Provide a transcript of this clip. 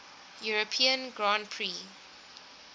european grand prix